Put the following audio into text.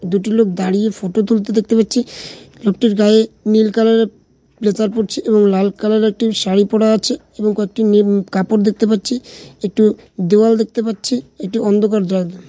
দুটি লোক দাঁড়িয়ে ফটো তুলতে দেখতে পারছি একটি গায়ে নীল কালার এর ব্লেজার পড়ছে লাল কালার এর একটি শাড়ী পরে আছে এবং একটি নেম-- কাপড় দেখতে পারছি একটি দেয়াল দেখতে পারছি এটি অন্ধকার দেয়াল। .